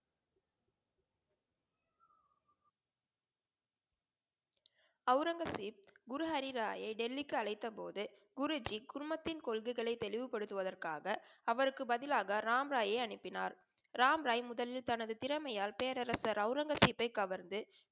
அவுரங்கசீப் குரு ஹரிராயயை டெல்லிக்கு அழைத்தபோது குருஜி குடும்பத்தின் கொள்கைகளை தெளிவு படுத்துவதற்காக அவருக்கு பதிலாக ராம் ராயை அனுப்பினார். ராம்ராய் முதலில் தனது திறமையால் பேரரசர் அவுரங்கசீப்பை கவர்ந்து